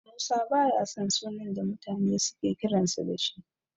Musa baya son sunan da mutane suke kiransa da shi.